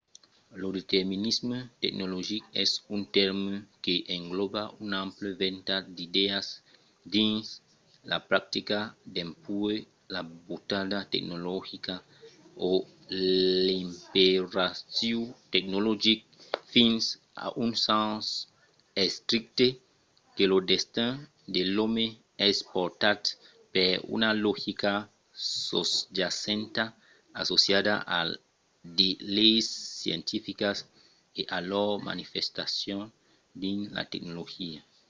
lo determinisme tecnologic es un tèrme que englòba un ample ventalh d’idèas dins la practica dempuèi la butada tecnologica o l’imperatiu tecnologic fins a un sens estricte que lo destin de l'òme es portat per una logica sosjacenta associada a de leis scientificas e a lor manifestacion dins la tecnologia